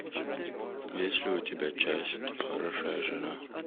есть ли у тебя часть хорошая жена